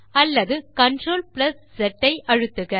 அல்லது CTRLZ ஐ அழுத்துக